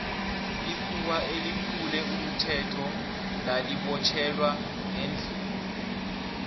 ikhuwa eliphule umthetho lali botjhelwa ngendlini